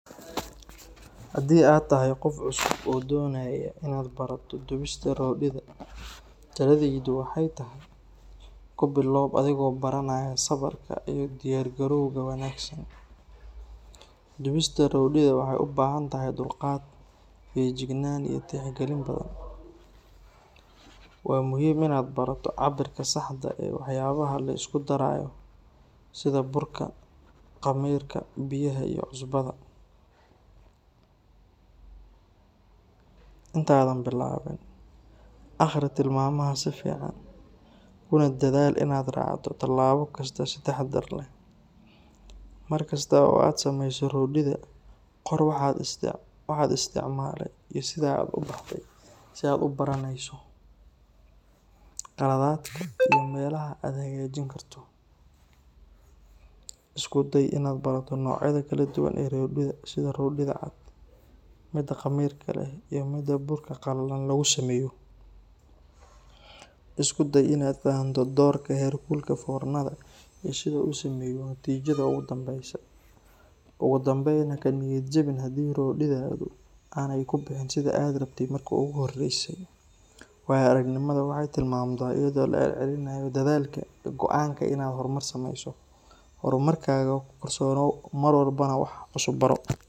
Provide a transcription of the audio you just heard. Haddii aad tahay qof cusub oo doonaya inaad barato dubista roodhida, taladaydu waxay tahay: ku bilow adigoo baranaya sabarka iyo u diyaargarowga wanaagsan. Dubista roodhida waxay u baahan tahay dulqaad, feejignaan, iyo tixgelin badan. Waa muhiim inaad barato cabbirka saxda ah ee waxyaabaha la isku darayo, sida burka, khamiirka, biyaha iyo cusbada. Intaadan bilaabin, akhri tilmaamaha si fiican, kuna dadaal inaad raacdo tallaabo kasta si taxaddar leh. Mar kasta oo aad samayso roodhida, qor waxa aad isticmaalay iyo sida ay u baxday si aad u baranayso khaladaadkaaga iyo meelaha aad hagaajin karto. Isku day inaad barato noocyada kala duwan ee roodhida sida roodhida cad, midda khamiirka leh, iyo midda burka qallalan lagu sameeyo. Isku day inaad fahanto doorka heerkulka foornada iyo sida uu u saameeyo natiijada ugu dambeysa. Ugu dambeyn, ha ka niyad jabin haddii roodhidaadu aanay ku bixin sidii aad rabtay markii ugu horeysay. Waayo-aragnimadu waxay timaadaa iyadoo la celcelinayo dadaalka iyo go’aanka ah inaad horumar sameyso. Horumarkaaga ku kalsoonow, mar walbana wax cusub baro.